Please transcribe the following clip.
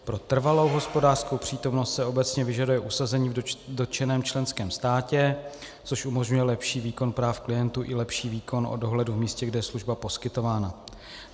Pro trvalou hospodářskou přítomnost se obecně vyžaduje usazení v dotčeném členském státě, což umožňuje lepší výkon práv klientů i lepší výkon o dohledu v místě, kde je služba poskytována.